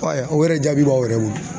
o yɛrɛ jaabi b'aw yɛrɛ bolo.